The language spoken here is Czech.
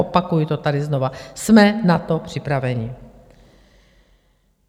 Opakuji to tady znova - jsme na to připraveni.